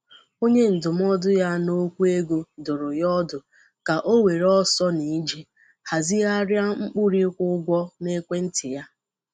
Onye ndụmọdụ ya N'okwụ ego dụrụ ya ọdụ ka ọ were ọsọ na ije hazigharịa ụkpụrụ ịkwụ ụgwọ n'ekwentị ya.